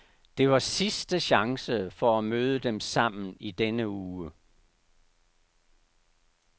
Det var sidste chance for at møde dem sammen i denne uge.